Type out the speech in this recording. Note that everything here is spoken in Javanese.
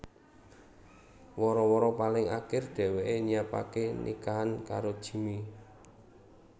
Wara wara paling akir dheweké nyiapaké nikahan karo Jimmy